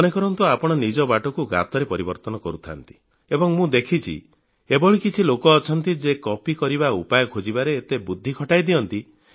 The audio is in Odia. ମନେ କରନ୍ତୁ ଆପଣ ନିଜ ବାଟକୁ ଗାତରେ ପରିବର୍ତ୍ତିତ କରୁଥାନ୍ତି ଏବଂ ମୁଁ ତ ଦେଖିଛି ଏଭଳି କିଛି ଲୋକ ଅଛନ୍ତି ଯେ କପି କରିବା ଉପାୟ ଖୋଜିବାରେ ଏତେ ବୁଦ୍ଧି ଖଟାଇ ଦିଅନ୍ତି